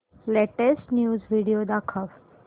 latest news video दाखव